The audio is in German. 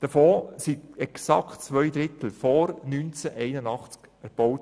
Davon wurden exakt zwei Drittel vor 1981 erbaut.